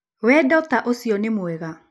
Wendo ta ũcio nĩ mwega?